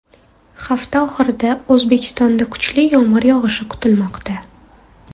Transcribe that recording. Hafta oxirida O‘zbekistonda kuchli yomg‘ir yog‘ishi kutilmoqda.